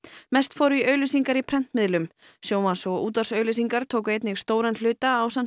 mest fór í auglýsingar í prentmiðlum sjónvarps og útvarpsauglýsingar tóku einnig stóran hluta ásamt